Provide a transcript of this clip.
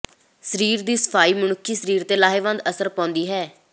ਸਰੀਰ ਦੀ ਸਫਾਈ ਮਨੁੱਖੀ ਸਰੀਰ ਤੇ ਲਾਹੇਵੰਦ ਅਸਰ ਪਾਉਂਦੀ ਹੈ